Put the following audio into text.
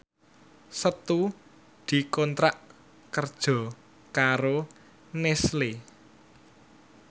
Setu dikontrak kerja karo Nestle